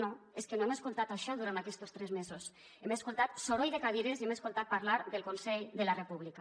no és que no hem escoltat això durant aquestos tres mesos hem escoltat soroll de cadires i hem escoltat parlar del consell de la república